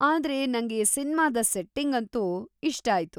ಆದ್ರೆ ನಂಗೆ ಸಿನ್ಮಾದ ಸೆಟ್ಟಿಂಗಂತೂ ಇಷ್ಟ ಆಯ್ತು.